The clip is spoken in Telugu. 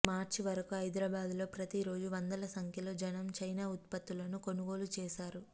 మార్చి వరకు హైదరాబాద్ లో ప్రతి రోజూ వందల సంఖ్యలో జనం చైనా ఉత్పత్తులను కొనుగోలు చేశారు